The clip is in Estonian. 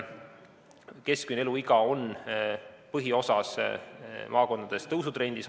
Keskmine eluiga maakondades on põhiosas tõusutrendis.